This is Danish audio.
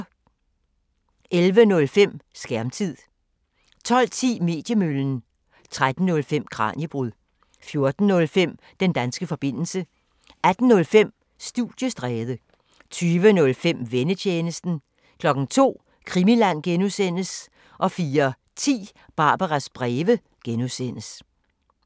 11:05: Skærmtid 12:10: Mediemøllen 13:05: Kraniebrud 14:05: Den danske forbindelse 18:05: Studiestræde 20:05: Vennetjenesten 02:00: Krimiland (G) 04:10: Barbaras breve (G)